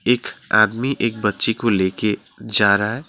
एक आदमी एक बच्चे को लेके जा रहा है।